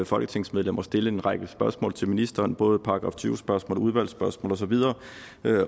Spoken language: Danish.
folketingsmedlem at stille en række spørgsmål til ministeren både § tyve spørgsmål og udvalgsspørgsmål og så videre